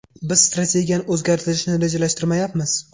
Biz strategiyani o‘zgartirishni rejalashtirmayapmiz.